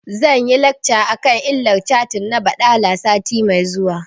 Zan yi lacca akan illar catin na baɗala mako mai zuwa